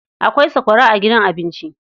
Akwai sakwara a gidan abinci..